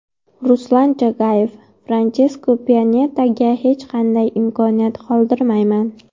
Ruslan Chagayev: Franchesko Pyanetaga hech qanday imkoniyat qoldirmayman.